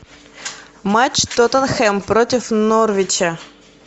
матч тоттенхэм против норвича